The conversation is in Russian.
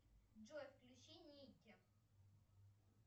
джой включи никки